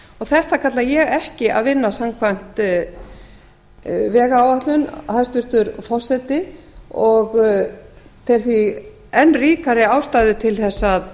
þetta kalla ég ekki að vinna samkvæmt vegáætlun hæstvirtur forseti og tel því enn ríkari ástæðu til að